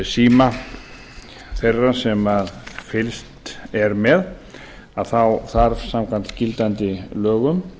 síma þeirra sem fylgst er með þá þ arf samkvæmt gildandi lögum